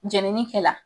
Jenini kɛ la